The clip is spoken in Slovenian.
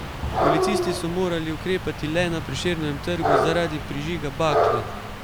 Policisti so morali ukrepati le na Prešernovem trgu zaradi prižiga bakle.